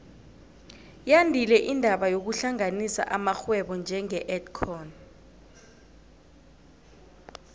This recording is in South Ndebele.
yandile indaba yokuhlanganisa amarhwebo njenge edcon